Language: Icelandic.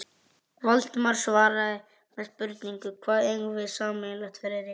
Valdimar svaraði með spurningu: Hvað eigum við sameiginlegt, Friðrik?